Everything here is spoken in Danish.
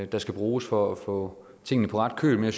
der skal bruges for at få tingene på ret køl men